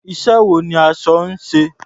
Iṣẹ́ wo ni aṣọ ń ṣe?